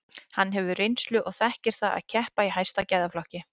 Hann hefur reynslu og þekkir það að keppa í hæsta gæðaflokki.